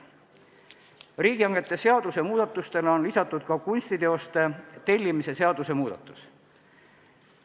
Riigihangete seaduse muudatustele on lisatud ka kunstiteoste tellimise seaduse muudatus.